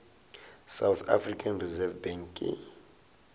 south african reserve bank ke